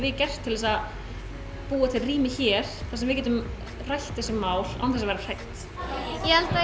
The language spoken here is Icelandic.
gert til að búa til rými hér þar sem við getum rætt þessi mál án þess að vera hrædd ég held að